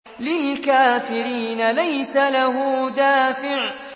لِّلْكَافِرِينَ لَيْسَ لَهُ دَافِعٌ